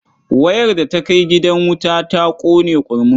Wayar da ta kai gidan wuta ta ƙone ƙurmus.